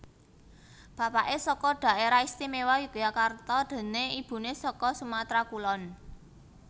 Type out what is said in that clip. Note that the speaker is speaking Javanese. Bapaké saka Dhaerah Istimewa Yogyakarta déné ibuné saka Sumatra Kulon